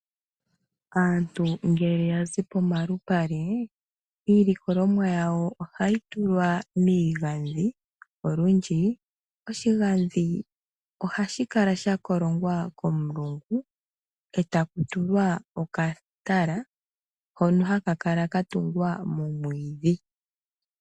Aantu ngele ya zi pomalupale, iilikolomwa yawo ohayi tulwa miigandhi. Olundji oshigandhi ohashi kala sha kolongwa komulungu etaku tulwa okatala hono ha ka kala ka tungwa momwiidhi.